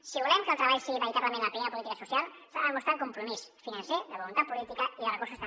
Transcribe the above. si volem que el treball sigui veritablement la primera política social s’ha de demostrar amb compromís financer de voluntat política i de recursos també